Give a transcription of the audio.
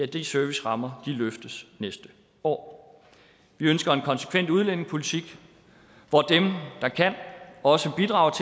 de servicerammer løftes næste år vi ønsker en konsekvent udlændingepolitik hvor dem der kan også bidrager